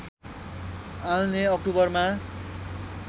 आउने ओक्टुबरमा